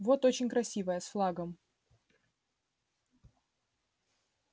вот очень красивая с флагом